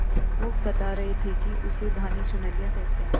वो बता रहे थे कि उसे धानी चुनरिया कहते हैं